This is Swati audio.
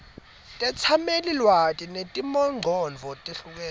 tetsamelilwati netimongcondvo letehlukene